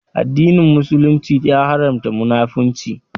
Addinin Musulunci ya Haramta Munafurci